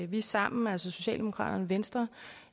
vi sammen altså socialdemokraterne og venstre